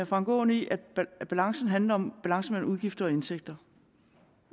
frank aaen i at balancen handler om balance mellem udgifter og indtægter